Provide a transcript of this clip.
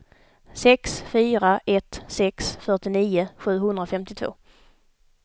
sex fyra ett sex fyrtionio sjuhundrafemtiotvå